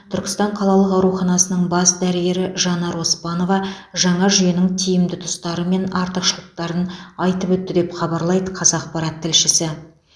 түркістан қалалық ауруханасының бас дәрігері жанар оспанова жаңа жүйенің тиімді тұстары мен артықшылықтарын айтып өтті деп хабарлайды қазақпарат тілшісі